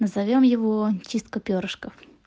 назовём его чистка перышков